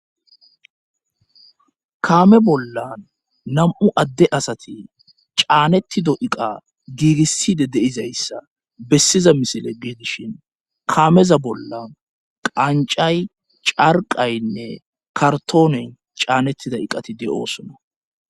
kaame bollan nam7u adde asati caanettido iqa giigisside deizayssa bessiza misile geedishin kaameza bollan qancay carqaynne kartoonen caanettida iqati de'oosona